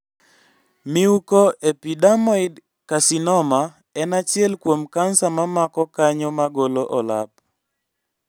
Mucoepidermoid carcinoma en achiel kuom kansa mamako kanyo magolo olap